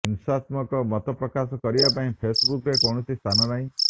ହିଂସାତ୍ମକ ମତ ପ୍ରକାଶ କରିବା ପାଇଁ ଫେସବୁକରେ କୌଣସି ସ୍ଥାନ ନାହିଁ